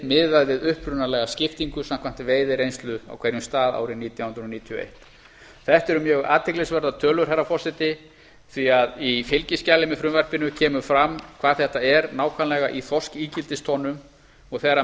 miðað við upprunalega skiptingu samkvæmt veiðireynslu á hverjum stað árið nítján hundruð níutíu og eitt þetta eru mjög athyglisverðar tölur herra forseti því að í fylgiskjali með frumvarpinu kemur fram hvað þetta er nákvæmlega í þorskígildistonnum og vegar